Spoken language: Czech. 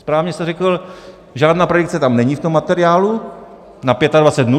Správně jste řekl, žádná predikce tam není, v tom materiálu, na 25 dnů.